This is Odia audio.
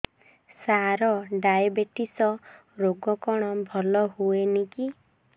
ସାର ଡାଏବେଟିସ ରୋଗ କଣ ଭଲ ହୁଏନି କି